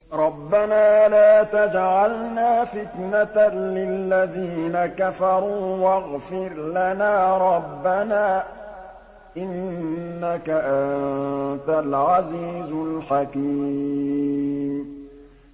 رَبَّنَا لَا تَجْعَلْنَا فِتْنَةً لِّلَّذِينَ كَفَرُوا وَاغْفِرْ لَنَا رَبَّنَا ۖ إِنَّكَ أَنتَ الْعَزِيزُ الْحَكِيمُ